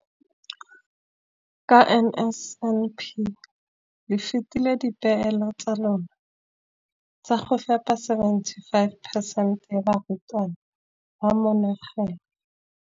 Ka NSNP le fetile dipeelo tsa lona tsa go fepa masome a supa le botlhano a diperesente ya barutwana ba mo nageng.